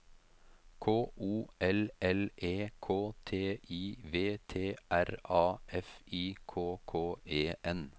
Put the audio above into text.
K O L L E K T I V T R A F I K K E N